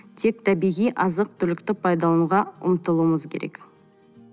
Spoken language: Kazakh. тек табиғи азық түлікті пайдалануға ұмтылуымыз керек